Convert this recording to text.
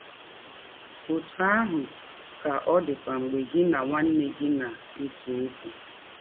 Ọtụ ahụ ka ọ dịkwa mgbe gị na nwanne gị na - ese ọkwụ.